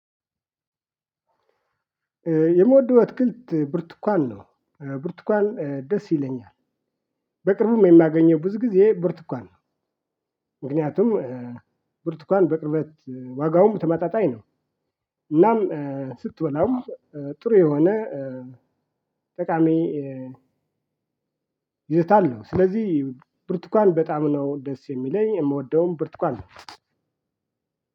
የምወደው አትክልት ብርቱካን ነው። ብርቱካን ደስ ይለኛል። በቅርቡም የማገኘው ብዙ ጊዜ ብርቱካን ነው። ምክንያቱም ብርቱካን በቅርበት ዋጋውም ተመጣጣኝ ነው። እናም ስትበላውም ጥሩ የሆነ ጠቃሚ ይዘት አለው ስለዚህ ብርቱካን በጣም ነው ደስ የሚለኝ የምወደውን ብርቱካን ነው።